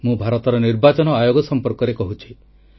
ମୁଁ ଭାରତର ନିର୍ବାଚନ ଆୟୋଗ ସଂପର୍କରେ କହୁଛି